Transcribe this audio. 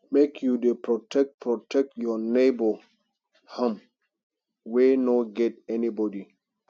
make you dey protect protect your nebor um wey no get anybodi